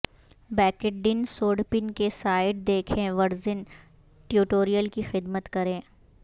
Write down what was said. بیکڈڈن سوڈپن کے سائیڈ دیکھیں ورژن ٹیوٹریلیل کی خدمت کریں